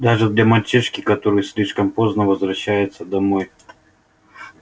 даже для мальчишки который слишком поздно возвращается домой